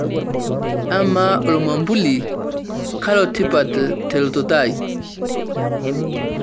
amaa ormambuli koletipat telototo ai